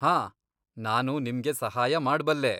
ಹಾಂ, ನಾನು ನಿಮ್ಗೆ ಸಹಾಯ ಮಾಡ್ಬಲ್ಲೆ.